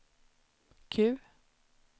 Q